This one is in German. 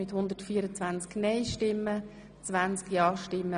Wir kommen somit zur Schlussabstimmung.